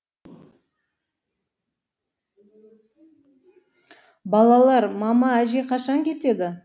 балалар мама әже қашан кетеді